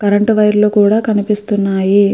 Current wire లు కూడా కనిపిస్తున్నాయి.